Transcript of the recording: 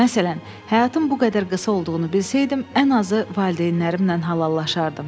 Məsələn, həyatım bu qədər qısa olduğunu bilsəydim, ən azı valideynlərimlə halallaşardım.